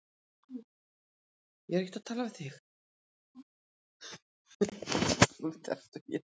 Svona er þetta bara, hvað getur maður sagt?